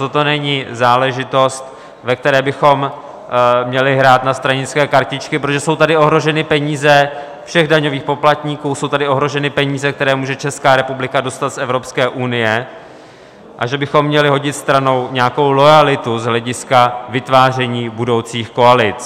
Toto není záležitost, ve které bychom měli hrát na stranické kartičky, protože jsou tady ohroženy peníze všech daňových poplatníků, jsou tady ohroženy peníze, které může Česká republika dostat z Evropské unie, a že bychom měli hodit stranou nějakou loajalitu z hlediska vytváření budoucích koalic.